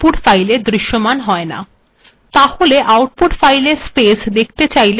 তাহলে আউটপুট্ ফাইলে স্পেস দেখতে চাইলে কি করতে হবে